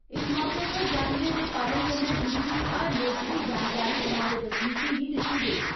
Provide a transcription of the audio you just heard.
इस मौके उप्पर जानवरें दे पालन कन्नै जुड़ी दी हर लोड़चदी जानकारी ग्रां दे बसनीकें गी दिती गेई।